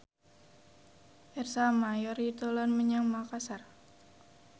Ersa Mayori dolan menyang Makasar